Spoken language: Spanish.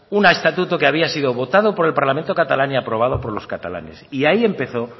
un estatuto que había sido votado por el parlamento catalán y aprobado por los catalanes y ahí empezó